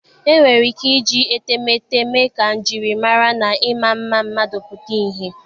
E nwere ike iji etemeete mee ka njirimara na ịma mma mmadụ pụta ìhè.